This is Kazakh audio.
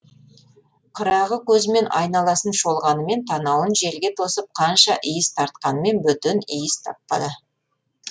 қырағы көзімен айналасын шолғанымен танауын желге тосып қанша иіс тартқанымен бөтен иіс таппады